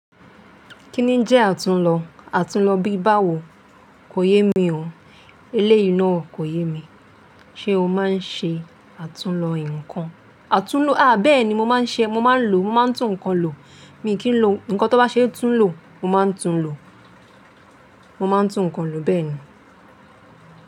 Kí ni jẹ́ àtúnlo? Àtúnlo bíbáwo? Kò yé mi o. Eléyìí náà kò yé mi. Ṣé o máa ń ṣe àtúnlo nǹkan? Àtúnlo, a bẹ́ẹ̀ni mo máa ń ṣe, mo máa ń lo, mo máa ń tún nǹkan lo. Mi kì í lo, nǹkan tó bá ṣe é tún lo, mo máa ń tún lo. Mo máa ń tún nǹkan lo bẹ́ẹ̀ ni.